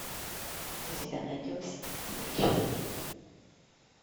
у тебя найдется девчонки